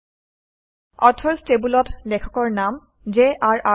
৩ অথৰচ্ টেবুলত লেখকৰ নাম jrৰ